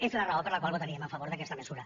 és la raó per la qual votaríem a favor d’aquesta mesura